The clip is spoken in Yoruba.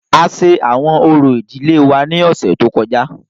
A ṣe awọn orȯ idile wa ni ọsẹ to kọja.